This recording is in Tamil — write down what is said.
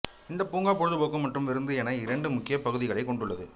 இந்தப் பூங்கா பொழுதுபோக்கு மற்றும் விருந்து என இரண்டு முக்கியப் பகுதிகளைக் கொண்டுள்ளது